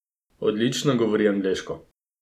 Odlično govori angleško.